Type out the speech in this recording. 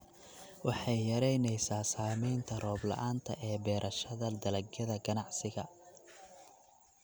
Waxay yaraynaysaa saamaynta roob-la'aanta ee beerashada dalagyada ganacsiga.